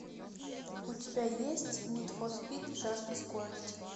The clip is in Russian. у тебя есть нид фор спид жажда скорости